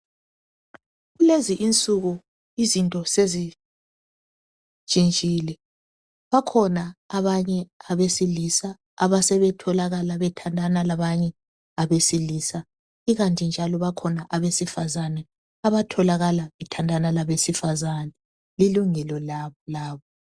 Kulezi insuku izinto sezintshintshile, bakhona abanye abesilisa asebetholakala bethandana labanye abesilisa. Ikanti njalo bakhona abesifazana abatholakal bethandana labesifazana. Lilungelo labo.